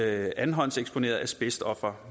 andenhåndseksponerede asbestofre